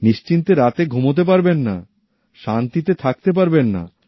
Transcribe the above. নিশ্চিন্তে রাতে ঘুমাতে পারবেন না শান্তিতে থাকতে পারবেন না